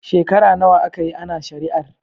Shekara nawa aka yi ana shari'ar?